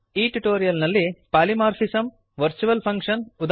ಈ ಟ್ಯುಟೋರಿಯಲ್ ನಲ್ಲಿ polymorphism virtual function ಉದಾ